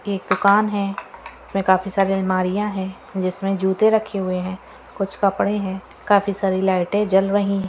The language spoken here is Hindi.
एक दुकान है इसमें काफी सारे अलमारियां है जिसमे जूते रखे हुए है कुछ कपडे है काफी सारे लाईटे जल रही है।